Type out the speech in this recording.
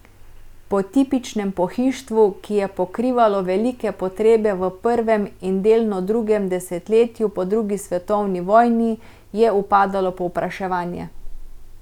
Po tipičnem pohištvu, ki je pokrivalo velike potrebe v prvem in delno drugem desetletju po drugi svetovni vojni, je upadalo povpraševanje.